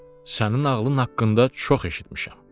Sənin ağlın haqqında çox eşitmişəm.